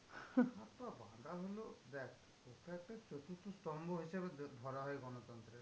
কথা হলো দেখ ওটা একটা চতুর্থ স্তম্ভ হিসাবে যদি ধরা হয় গণতন্ত্রে।